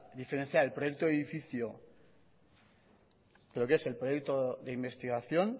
diferenciar el proyecto de edificio pero que es el proyecto de investigación